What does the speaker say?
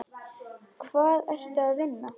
Hvar ertu að vinna?